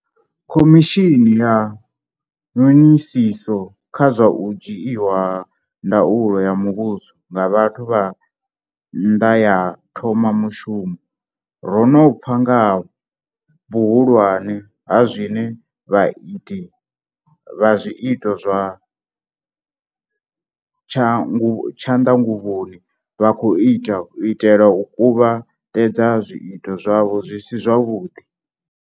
Khomishini ya ṅhoṅisiso kha zwa u Dzhiiwa ha Ndaulo ya muvhuso nga vhathu vha nnṅa ya thoma mushumo, ro no pfa nga ha vhuhulwane ha zwine vhaiti vha zwiito zwa tshanṅanguvhoni vha khou ita u itela u kuvha tedza zwiito zwavho zwi si zwavhuḓi.